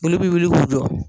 Boli bi wuli k'u jɔ